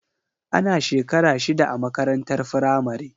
Ana shekara shida a makarantar firamare.